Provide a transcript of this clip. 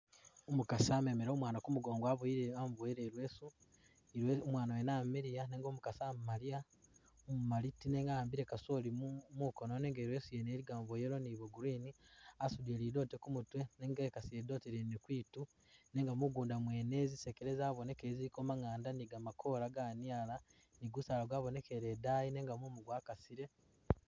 Umukasi amemele umwana kumugongo amuboyele ileesu umwana wene amiliya nenga umukasi amaliya umumali ti nenga ahambile kasoli mu mukono nunge ileesu yene iligamo bwoyellow ni green asudile lidote kumutwe nenga ekasile lidote lyene kwitu nenga mugunda mwene zisekele zabonekele ziliko maatu, manganda ni gamakola ganyala ni gusaala gwabonekele idayi nenga mumu gwakasile.